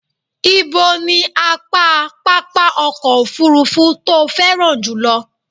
Ibo ní apá pápá ọkọ̀ òfurufú tó o féràn jùlọ?